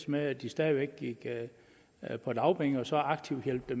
med at de stadig væk er på dagpenge man så aktivt hjælpe